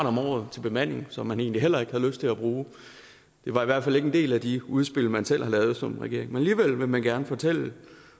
om året til bemanding som man egentlig heller ikke havde lyst til at bruge det var i hvert fald ikke en del af de udspil man selv havde lavet som regering men alligevel vil man gerne fortælle